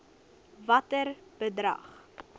watter bedrag